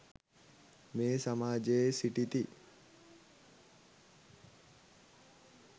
මේ සමාජයේ සිටිති.